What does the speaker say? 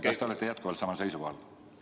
Kas te olete jätkuvalt samal seisukohal?